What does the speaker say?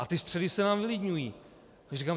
A ty středy se nám vylidňují.